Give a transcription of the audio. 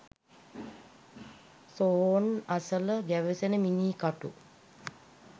සොහොන් අසල ගැවසෙන මිනී කටු